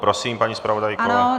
Prosím, paní zpravodajko.